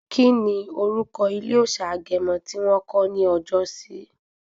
Kíni orúkọ ilé òòsà Agẹmọ yi wọ̀n kọ̀ ní ọjọ́sí?